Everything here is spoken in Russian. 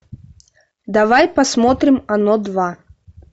давай посмотрим оно два